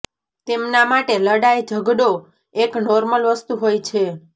તેમના માટે લડાઈ ઝગડો એક નોર્મલ વસ્તુ હોય છે